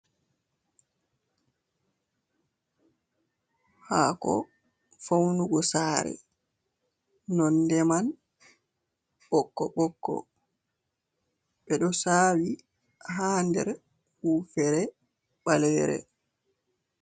Haako faunugo saare, nonde man ɓokko-ɓokko, ɓe ɗo saawi, ha nder wuufere ɓaleere.